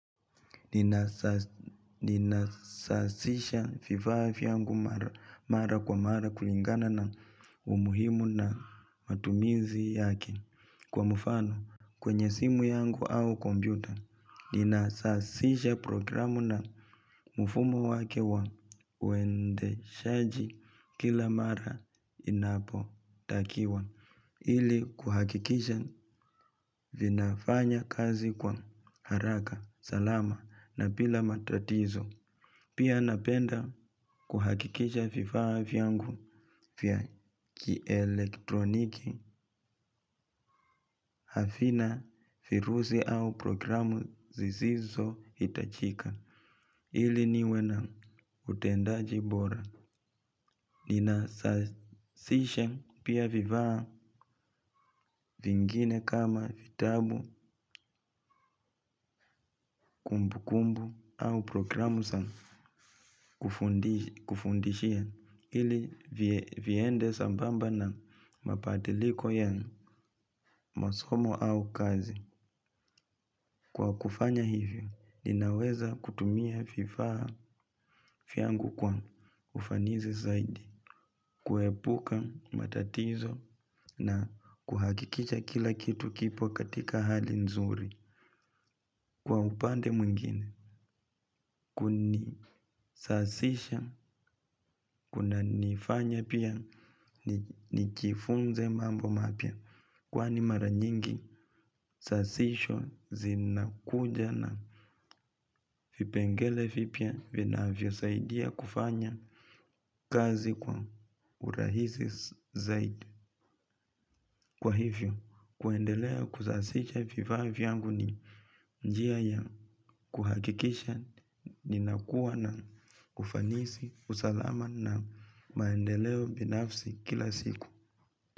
Ninasasisha vifaa vyangu mara kwa mara kulingana na umuhimu na matumizi yake. Kwa mfano kwenye simu yangu au kompyuta ninasasisha programu na mfumo wake wa uendeshaji kila mara inapotakiwa. Ili kuhakikisha vinafanya kazi kwa haraka, salama na bila matatizo. Pia napenda kuhakikisha vifaa vyangu vya kielektroniki havina virusi au programu zizizo hitajika. Ili niwe na utendaji bora ninasasishe pia vivaa vingine kama vitabu, kumbukumbu au programu za kufundishia ili viende sambamba na madiliko ya masomo au kazi. Kwa kufanya hivyo, ninaweza kutumia vifaa vyangu kwa ufanizi zaidi, kuepuka matatizo na kuhakikisha kila kitu kipo katika hali nzuri. Kwa upande mwingine kunisasisha kunanifanya pia nijifunze mambo mapya kwani mara nyingi sasisha zinakuja na vipengele vipya vinavyosaidia kufanya kazi kwa urahisi zaidi. Kwa hivyo, kuendelea kuzasisha vifaa vyangu ni njia ya kuhakikisha ninakua na kufanisi usalama na maendeleo binafsi kila siku.